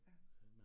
Ja